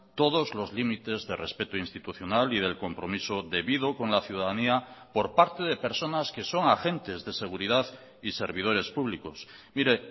todos los límites de respeto institucional y del compromiso debido con la ciudadanía por parte de personas que son agentes de seguridad y servidores públicos mire